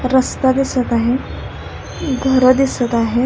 रस्ता दिसत आहे घरं दिसत आहेत.